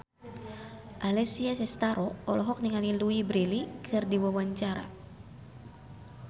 Alessia Cestaro olohok ningali Louise Brealey keur diwawancara